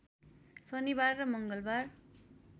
शनिबार र मङ्गलबार